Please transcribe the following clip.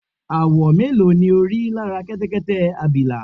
àwọ̀ mélòó ni o rí lára Kẹtẹkẹtẹ abìlà?